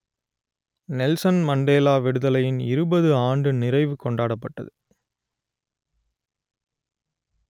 Nelson Mandela விடுதலையின் இருபது ஆண்டு நிறைவு கொண்டாடப்பட்டது